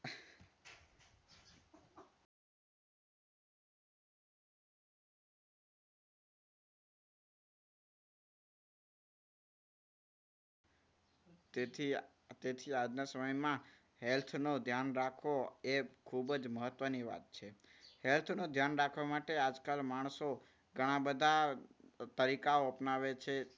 તેથી તેથી આજના સમયમાં health નું ધ્યાન રાખવું એ ખૂબ જ મહત્વની વાત છે. health નું ધ્યાન રાખવા માટે આજકાલ માણસો ઘણા બધા તરીકાઓ અપનાવે છે.